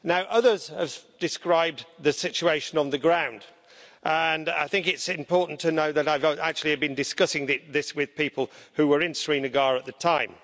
Others have described the situation on the ground, and I think it's important to know that I've been discussing this with people who were in Srinagar at the time.